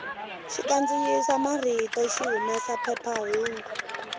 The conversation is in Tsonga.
xikandziyisa marito xi humesa phephahungu